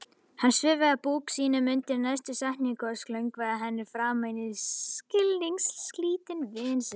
Hann svifaði búk sínum undir næstu setningu og slöngvaði henni framan í skilningslítinn vin sinn